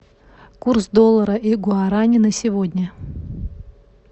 курс доллара и гуарани на сегодня